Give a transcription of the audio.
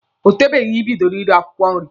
O tebeghị Ị bidoro ire akwụkwọ nri.